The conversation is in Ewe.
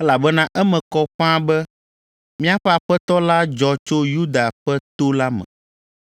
elabena eme kɔ ƒãa be míaƒe Aƒetɔ la dzɔ tso Yuda ƒe to la me,